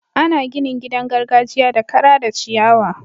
Ana ginin gidan gargajiya da kara da ciyawa.